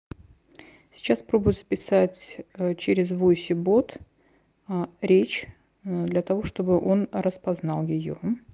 сейчас пробую записать через восемь бот речь для того чтобы он распознал её